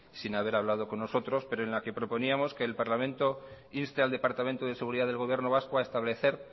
sin haber hablado con nosotros pero en la que proponíamos que el parlamento inste al departamento de seguridad del gobierno vasco a establecer